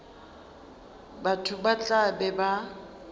batho ba tla be ba